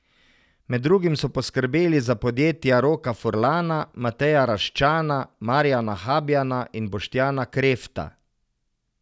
Med drugim so poskrbeli za podjetja Roka Furlana, Mateja Raščana, Marjana Habjana in Boštjana Krefta.